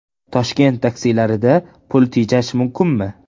Toshkent taksilarida pul tejash mumkinmi?.